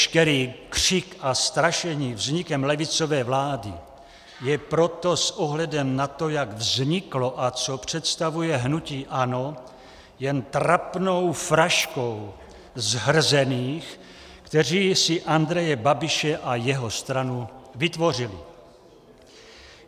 Veškerý křik a strašení vznikem levicové vlády je proto s ohledem na to, jak vzniklo a co představuje hnutí ANO, jen trapnou fraškou zhrzených, kteří si Andreje Babiše a jeho stranu vytvořili.